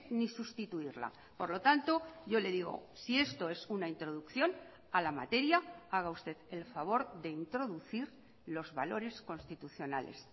ni sustituirla por lo tanto yo le digo si esto es una introducción a la materia haga usted el favor de introducir los valores constitucionales